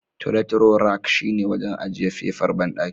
Toilet roll rack shine wajen ajiye fefar banɗaki.